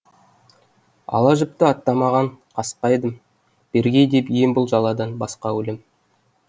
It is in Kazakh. ала жіпті аттамаған касқа едім бергей деп ем бұл жаладан басқа өлім